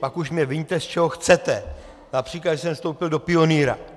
Pak už mě viňte, z čeho chcete, například, že jsem vstoupil do Pionýra.